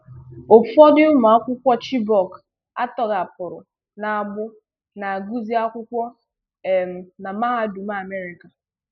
Ụfọdụ ụmụakwụkwọ Chibok atọghapụrụ n'agbụ na-agụzị akwụkwọ um na mahadum Amerịka.